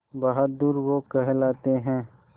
बहादुर वो कहलाते हैं